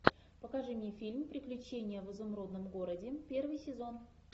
покажи мне фильм приключения в изумрудном городе первый сезон